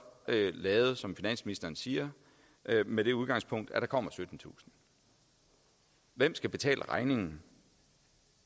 lavet som finansministeren siger med det udgangspunkt at der kommer syttentusind hvem skal betale regningen